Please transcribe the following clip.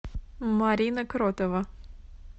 марина кротова